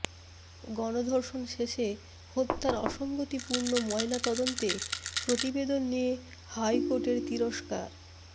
গণধর্ষণ শেষে হত্যার অসংগতিপূর্ণ ময়নাতদন্ত প্রতিবেদন নিয়ে হাইকোর্টের তিরস্কার